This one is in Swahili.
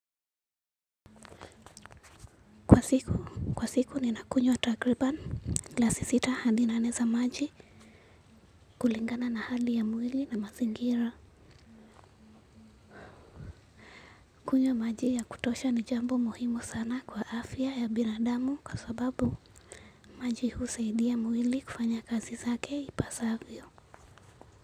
Kwa siku, kwa siku ninakunywa takriban glasi sita hadi nane za maji kulingana na hali ya mwili na mazingira. Kunywa maji ya kutosha ni jambo muhimu sana kwa afya ya binadamu kwa sababu maji husaidia mwili kufanya kazi zake ipasavyo.